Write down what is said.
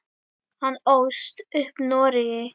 Hann ólst upp í Noregi.